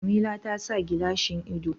Jamila ta sa gilashin ido